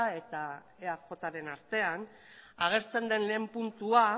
eta eajren artean agertzen den lehen puntua